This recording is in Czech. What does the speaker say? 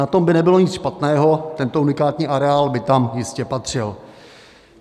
Na tom by nebylo nic špatného, tento unikátní areál by tam jistě patřil.